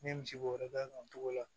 N ye misi bo yɔrɔ da kan o togo la